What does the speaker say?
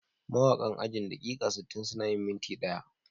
Mawakan ajin "daƙiƙa sittin suna yin minti ɗaya"